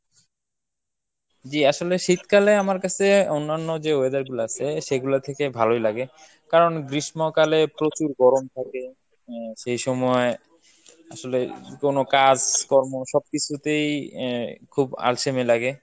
জি আসলে শীতকালে আমার কাছে অন্যান্য যে weather গুলা আছে সেগুলা থেকে ভালোই লাগে। কারন গ্রীষ্মকালে প্রচুর গরম থাকে আহ সেই সময় আসলে কোনো কাজ কর্ম সবকিছুতেই আহ খুব আলসেমি লাগে।